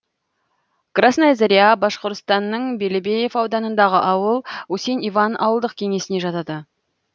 красная заря башқұртстанның белебеев ауданындағы ауыл усень иван ауылдық кеңесіне жатады